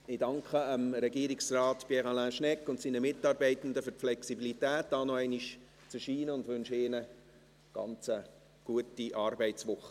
Ich danke Regierungsrat Pierre Alain Schnegg und seinen Mitarbeitenden für die Flexibilität, noch einmal hier zu erscheinen, und wünsche ihnen eine sehr gute Arbeitswoche.